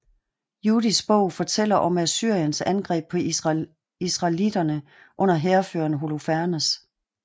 Judits Bog fortæller om Assyriens angreb på israelitterne under hærføreren Holofernes